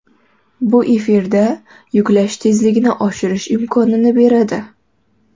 Bu efirda yuklash tezligini oshirish imkonini beradi.